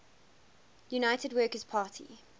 united workers party